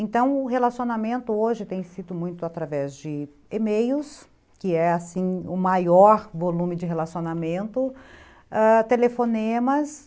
Então o relacionamento hoje tem sido muito através de e-mails, que é assim o maior volume de relacionamento, ãh... telefonemas.